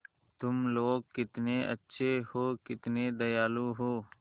तुम लोग कितने अच्छे हो कितने दयालु हो